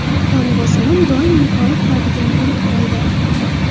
Qon bosimim doim yuqori turadigan bo‘lib qoldi.